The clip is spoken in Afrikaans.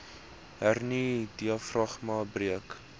hernia diafragma breuk